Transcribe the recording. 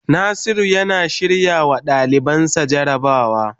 Nasiru yana shirrawa dalibansa jarabawa.